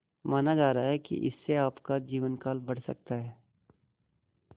माना जा रहा है कि इससे आपका जीवनकाल बढ़ सकता है